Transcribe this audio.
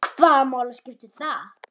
Hvaða máli skiptir það?